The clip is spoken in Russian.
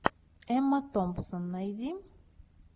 эмма томпсон найди